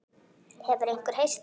Hefur einhver heyrt þær?